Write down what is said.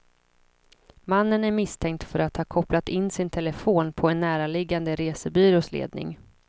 Mannen är misstänkt för att ha kopplat in sin telefon på en närliggande resebyrås ledning.